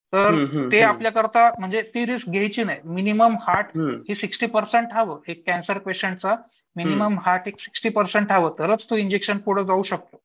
म्हणजे ते आपल्याकरता ती रिस्क घ्यायची नाही. मिनिमम हार्ट हे सिक्स्टी पर्सेंट राहावं कॅन्सर पेशंटचं मिनिमम हार्ट हे सिक्स्टी पर्सेंट व्हावं तरच ते इंजेक्शन पुढं जाऊ शकत